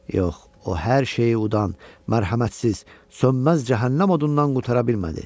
Yox, o hər şeyi udan, mərhəmətsiz, sönməz cəhənnəm odundan qurtara bilmədi.